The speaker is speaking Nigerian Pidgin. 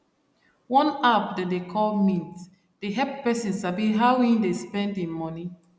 one app dem dey call mint dey help person sabi how him dey spend him money